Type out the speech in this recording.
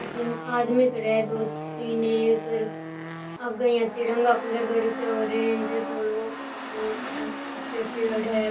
अठी आदमी खड़े है दो तीन एक और आगे यहाँ तिरंगा कलर कर रख्या ऑरेंज धोलो ऊचे पेड़ है।